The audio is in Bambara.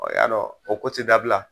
Ɔɔ y'a dɔn o ko ti dabila !